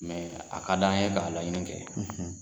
Mɛ a ka d' an ye k'a laɲini kɛ.